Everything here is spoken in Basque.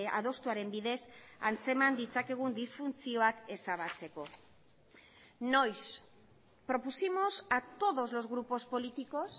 adostuaren bidez antzeman ditzakegun disfuntzioak ezabatzeko noiz propusimos a todos los grupos políticos